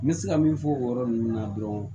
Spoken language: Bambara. N bɛ se ka min fɔ o yɔrɔ ninnu na dɔrɔn